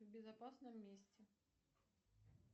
в безопасном месте